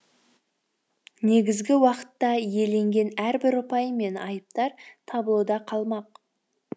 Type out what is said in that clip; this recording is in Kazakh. негізгі уақытта иеленген әрбір ұпай мен айыптар таблода қалмақ